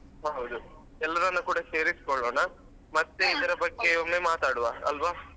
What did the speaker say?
ಹ ಹೌದು ಎಲ್ಲರನ್ನು ಕೂಡ ಸೇರಿಸ್ಕೊಳ್ಳೋಣ ಮತ್ತೆ ಇದ್ರ ಬಗ್ಗೆ ಒಮ್ಮೆ ಮಾತಾಡುವ ಅಲ್ವ.